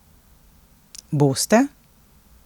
Boste?